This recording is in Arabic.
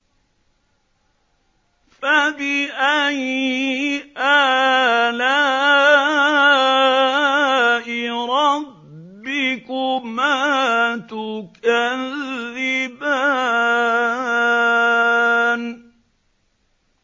فَبِأَيِّ آلَاءِ رَبِّكُمَا تُكَذِّبَانِ